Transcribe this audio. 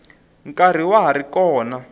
nkarhi wa ha ri kona